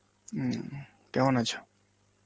হম কেমন আছো?